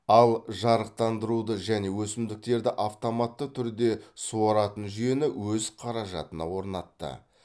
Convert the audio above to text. ал жарықтандыруды және өсімдіктерді автоматты түрде суаратын жүйені өз қаражатына орнатты